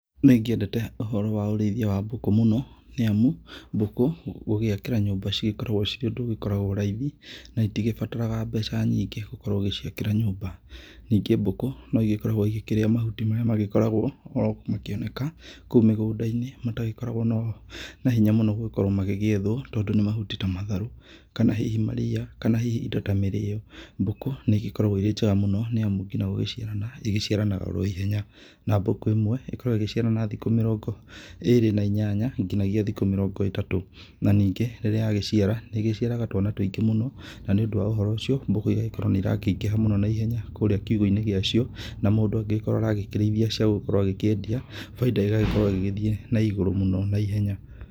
Nĩ ngĩendete ũhoro wa ũrĩithia wa mbũkũ mũno, nĩ amu mbũku gũgĩakĩra nyũmba cigĩkoragwo cirĩ ũndũ ũgĩkoragwo raithi, na itigĩbataraga mbeca nyingĩ gũkorwo ũgĩciakĩra nyũmba. Ningĩ mbũkũ, no igĩkoragwo igĩkĩrĩa mahuti marĩa magĩkoragwo oro makĩoneka kũu mĩgũnda-inĩ, matagĩkoragwo na hinya mũno gũkorwo magĩgĩethwo, tondũ nĩ mahuti ta matharũ, kana hihi maria, kana hihi indo ta mĩrĩo. Mbũkũ, nĩ igĩkoragwo irĩ njega mũno, nĩ amu nginya gũgĩciarana igĩciaranaga oro ihenya, na mbũku ĩmwe ĩkoragwo ĩgĩciara na thikũ mĩrongo ĩrĩ na inyanya nginyagia thikũ mĩrongo ĩtatũ. Na ningĩ rĩrĩa yagĩciara, nĩ ĩgĩciaraga twana tũingĩ mũno, na nĩ ũndũ wa uhoro ũcio, mbũkũ igagĩkorwo nĩ irakĩingĩha mũno na ihenya kũũrĩa kiugũ-inĩ gĩa cio, na mũndũ ũngĩkorwo aragĩkĩrĩithia cia gũgĩkorwo agĩkĩendia, bainda ĩgagĩkorwo ĩgĩgĩthiĩ na igũrũ mũno na ihenya.